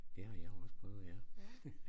Det har jeg også prøvet ja